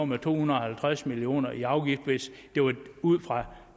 med to hundrede og halvtreds million kroner i afgift hvis det var ud fra